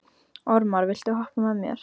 Ormar, viltu hoppa með mér?